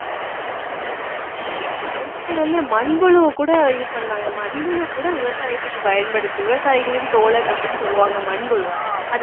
முன்னாடி வந்து மண்புழுவைக்கூட இது பண்ணாங்க மண்புழு கூட விவசாயத்துக்கு பயன்படுத்து~ விவசாயிகளின் தோழன் அப்படீன்னு சொல்லுவாங்க மண்புழுவ